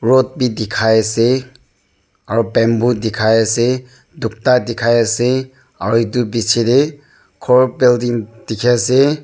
rod bi dikhai ase aru bamboo dikhai ase tukta dikhai ase aru edu bichae tae khor building dikhiase.